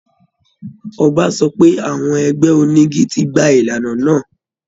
Ọba sọ pé àwọn ẹgbẹ́ onígi ti gbà ìlànà náà